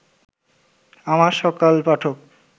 আমার সকল পাঠক